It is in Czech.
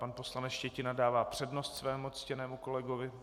Pan poslanec Štětina dává přednost svému ctěnému kolegovi.